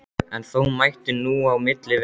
En þó mætti nú á milli vera.